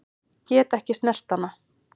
Get ekki snert hana.